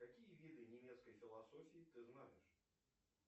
какие виды немецкой философии ты знаешь